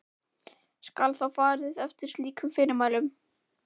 Skal þá farið eftir slíkum fyrirmælum.